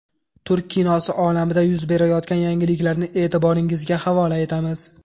Turk kinosi olamida yuz berayotgan yangiliklarni e’tiboringizga havola etamiz.